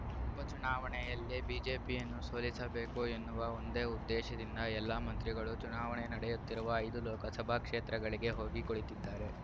ಉಪಚುನಾವಣೆಯಲ್ಲಿ ಬಿಜೆಪಿಯನ್ನು ಸೋಲಿಸಬೇಕು ಎನ್ನುವ ಒಂದೇ ಉದ್ದೇಶದಿಂದ ಎಲ್ಲಾ ಮಂತ್ರಿಗಳು ಚುನಾವಣೆ ನಡೆಯುತ್ತಿರುವ ಐದು ಲೋಕಸಭಾ ಕ್ಷೇತ್ರಗಳಿಗೆ ಹೋಗಿ ಕುಳಿತಿದ್ದಾರೆ